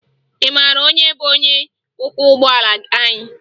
Ị mara onye bụ onye ọkwọụgbọ anyị?